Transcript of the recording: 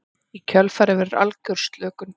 Í kjölfarið verður algjör slökun.